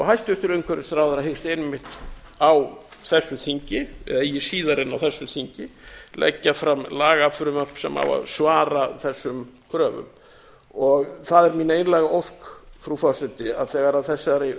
hæstvirtur umhverfisráðherra hyggst einmitt á þessu þingi eða eigi síðar en á þessu þingi leggja fram lagafrumvarp sem á að svara þessum kröfum það er mín einlæga ósk frú forseti að þegar þessari